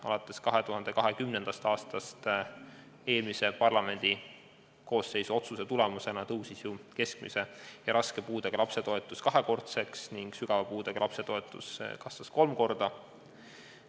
Alates 2020. aastast on eelmise parlamendikoosseisu otsuse tulemusena kasvanud keskmise ja raske puudega lapse toetus kaks korda ning sügava puudega lapse toetus kolm korda.